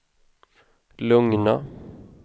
lugna